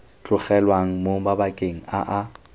tlogelwang mo mabakeng a a